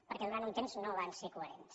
perquè durant un temps no van ser coherents